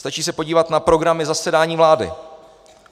Stačí se podívat na programy zasedání vlády.